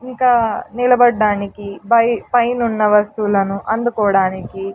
ఇంకా నిలబడ్డానికి బై పైనున్న వస్తువులను అందుకోడానికి--